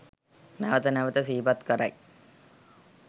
නැවත නැවත සිහිපත් කරයි.